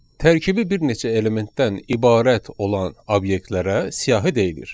Tərkibi bir neçə elementdən ibarət olan obyektlərə siyahı deyilir.